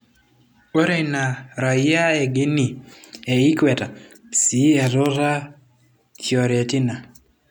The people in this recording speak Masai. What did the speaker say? Ore ina rayiaa e Guinea e ikwete sii etuta Fiorentina.